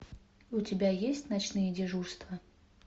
у тебя есть ночные дежурства